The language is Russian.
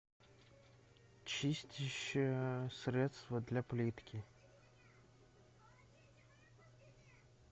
чистящее средство для плитки